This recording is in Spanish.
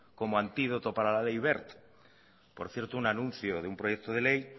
como antídoto para la ley wert por cierto un anuncio de un proyecto de ley